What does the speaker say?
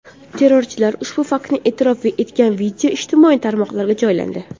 Terrorchilar ushbu faktni e’tirof etgan video ijtimoiy tarmoqlarga joylandi.